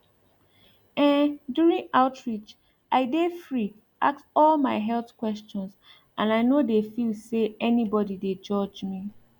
em during outreach i dey free ask all my health questions and i no dey feel say anybody dey judge me